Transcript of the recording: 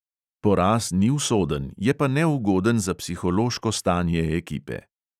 Poraz ni usoden, je pa neugoden za psihološko stanje ekipe.